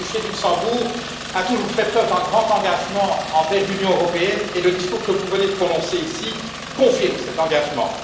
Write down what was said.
Le Grand Duché de Luxembourg a toujours fait preuve d'un engagement marqué envers l'Union européenne, et le discours que vous venez de prononcer ici confirme cet engagement.